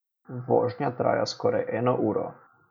Vožnja traja skoraj eno uro.